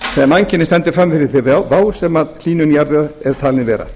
mannkynið stendur frammi fyrir þeirri vá sem hlýnun jarðar er talin vera